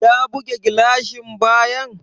Ya buge gilashin bayan?